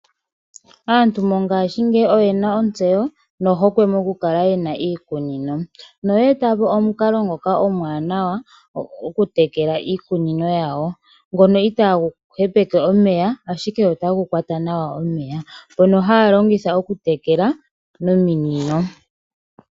Aantu mongashingeyi oyena ontseyo nohokwe moku kala yena iikunino. Noya etapo omukalo ngoka omuwanawa oku tekela iikunino yawo ngono itagu hepeke omeya, ashike otagu kwata nawa omeya mono haya longitha oku tekela nominino.